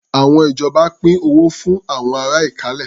Àwọn ìjọba pín owó fún àwọn ará Ìkálẹ̀.